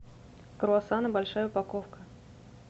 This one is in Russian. круассаны большая упаковка